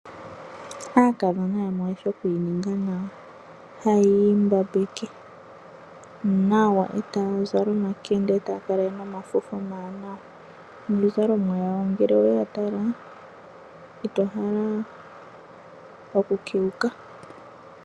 Aakadhona yamwe oyeshi oku ininga nawa haya imbabeke nawa etaya zala omakende etaya kala yena omafufu omawanawa, niizalomwa yawo ngele we yatala otovulu oku kewuka.